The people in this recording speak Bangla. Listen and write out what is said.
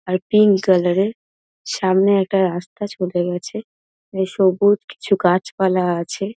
আর পিঙ্ক কালার -এর সামনে একটা রাস্তা চলে গেছে | এই সবুজ কিছু গাছপালা আছে।